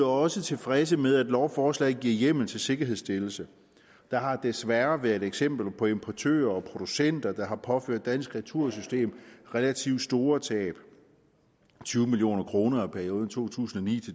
også tilfreds med at lovforslaget giver hjemmel til sikkerhedsstillelse der har desværre været eksempler på importører og producenter der har påført dansk retursystem relativt store tab tyve million kroner i perioden to tusind og ni